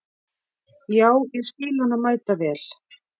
Já, ég skil hana mæta vel.